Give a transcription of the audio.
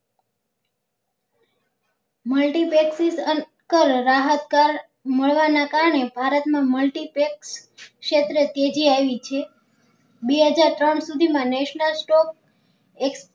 Multypexic રાહત કર મળવા ને કારણે ભારત માં multiplex ક્ષેત્રે ટેટી આવી છે બે હજાર ત્રણ સુધી માં national stop